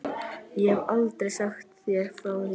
Ég hef aldrei sagt þér frá því.